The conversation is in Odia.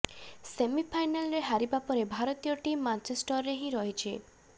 ସେମିଫାଇନାଲରେ ହାରିବା ପରେ ଭାରତୀୟ ଟିମ୍ ମାଞ୍ଚେଷ୍ଟରରେ ହିଁ ରହିଛି